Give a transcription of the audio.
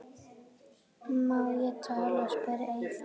Má ég tala? spyr Eyþór.